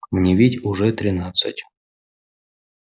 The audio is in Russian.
мне ведь уже тринадцать